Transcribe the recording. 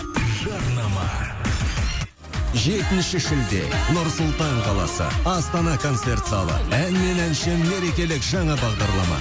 жарнама жетінші шілде нұр сұлтан қаласы астана концерт залы ән мен әнші мерекелік жаңа бағдарлама